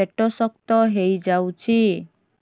ପେଟ ଶକ୍ତ ହେଇଯାଉଛି